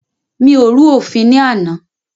Mi ò rú òfin ní àná.